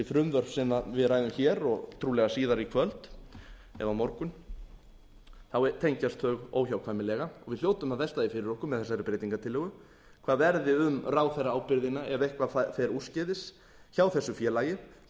frumvörp sem við ræðum hér og trúlega síðar í köld eða á morgun þá tengjast þau óhjákvæmilega og við hljótum að velta því fyrir okkur með þessari breytingartillögu hvað verði um ráðherraábyrgðin ef eitthvað fer úrskeiðis hjá þessu félagi það er ef